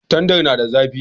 Tandar na da zafi